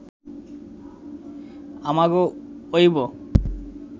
আমাগো অইব